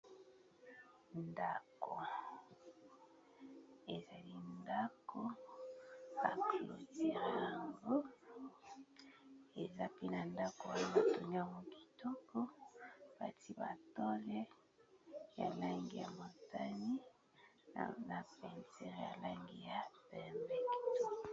Ndako, ezali ndako ba clôturé yango eza pe na ndako wana ba tongi yango kitoko batie ba tole ya langi ya motani na peinture ya langi ya pembe kitoko.